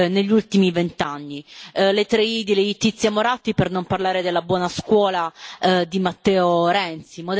negli ultimi vent'anni le tre i di Letizia Moratti, per non parlare della buona scuola di Matteo Renzi.